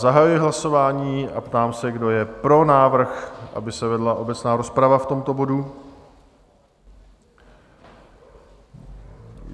Zahajuji hlasování a ptám se, kdo je pro návrh, aby se vedla obecná rozprava v tomto bodu?